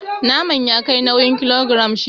Naman ya kai nauyin kilogiram shida.